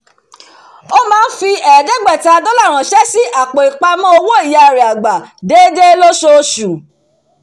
ó máa ń fi ẹ̀ẹ́dẹ́gbẹ̀ta dollar ránṣẹ́ sí àpò ipamọ owó ìyá rẹ̀ àgbà déédéé lóṣooṣù